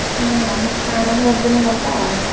ହଁ କରିଦେଲେ ଗଲା ଆଉ।